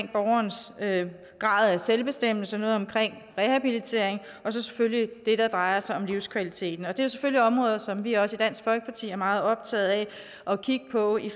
af selvbestemmelse noget om rehabilitering og så selvfølgelig det der drejer sig om livskvaliteten og det selvfølgelig områder som vi også i dansk folkeparti er meget optaget af at kigge på i